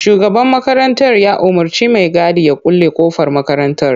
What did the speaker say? Shugaban makarantar ya umurci mai gadin ya kulle kofar makarantar.